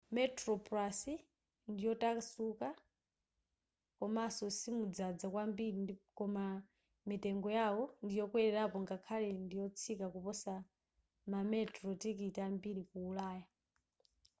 metroplus ndiyotakasuka komanso simudzadza kwambiri koma mitengo yao ndiyokwelelapo ngakhale ndiyotsika kuposa mametro tikiti ambiri ku ulaya